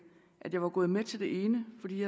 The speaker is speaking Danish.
at jeg var gået med til det ene fordi